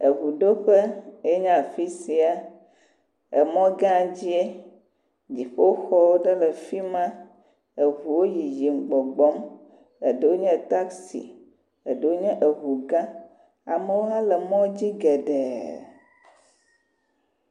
Eŋu ɖo ƒe ye nya afi sia. Emɔ gã dzie, dziƒo xɔ ɖe le afi ma. Eŋuwo yiyim gbɔgbɔm, eɖewo nye taxi eɖewo nye eŋu gã, amewo hã le mɔdzi geɖe.